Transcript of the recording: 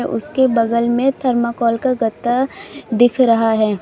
उसके बगल में थर्माकोल का गद्दा दिख रहा है।